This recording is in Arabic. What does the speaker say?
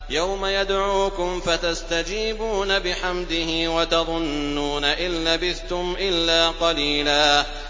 يَوْمَ يَدْعُوكُمْ فَتَسْتَجِيبُونَ بِحَمْدِهِ وَتَظُنُّونَ إِن لَّبِثْتُمْ إِلَّا قَلِيلًا